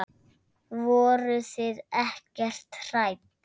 Voruð þið ekkert hrædd?